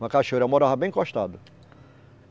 Uma cachoeira, eu morava bem encostado.